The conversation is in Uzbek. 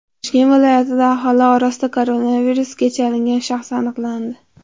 Toshkent viloyatida aholi orasida koronavirusga chalingan shaxs aniqlandi.